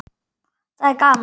Það er gaman.